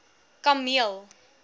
kameel